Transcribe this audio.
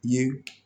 Ye